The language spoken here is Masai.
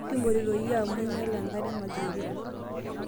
kimpotito iye amuu inyala enkare mazingira